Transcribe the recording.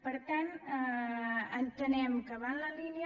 per tant entenem que va en la línia